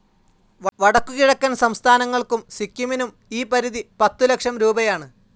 വടക്കുകിഴക്കൻ സംസ്ഥാനങ്ങൾക്കും സിക്കിമിനും ഈ പരിധി പത്തുലക്ഷംരൂപയാണ്.